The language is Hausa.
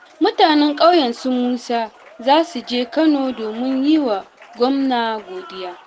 Mutanen ƙauyen su Musa za su je Kano domin yi wa gwamna godiya